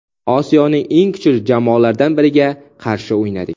Osiyoning eng kuchli jamoalardan biriga qarshi o‘ynadik.